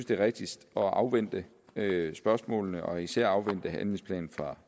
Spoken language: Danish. det er rigtigst at afvente spørgsmålene og især at afvente handlingsplanen fra